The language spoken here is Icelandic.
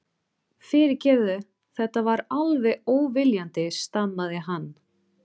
Fyrirgefðu, þetta var alveg óviljandi stamaði hann.